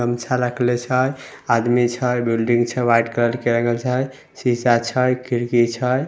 गमछा राखला छै आदमी छै बिल्डिंग छै व्हाइट कलर के रंगल छै सीसा छै खिड़की छै।